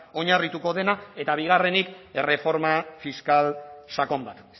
oinarrituko dena eta bigarrenik erreforma fiskal sakon bat